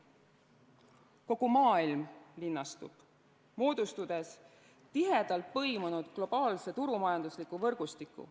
Kogu maailm linnastub, moodustades tihedalt põimunud globaalse turumajandusliku võrgustiku.